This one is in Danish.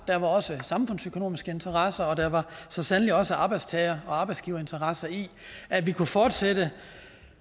der var også samfundsøkonomiske interesser og der var så sandelig også arbejdstager og arbejdsgiverinteresser i at vi kunne fortsætte